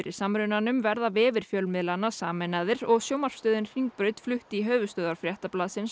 samrunanum verða vefir fjölmiðlanna sameinaðir og sjónvarpsstöðin Hringbraut flutt í höfuðstöðvar Fréttablaðsins á